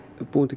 búum til